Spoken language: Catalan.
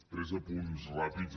tres apunts ràpids